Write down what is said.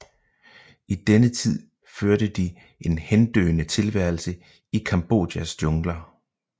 I denne tid førte de en hendøende tilværelse i Kambodjas jungler